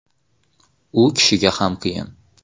U kishiga ham qiyin.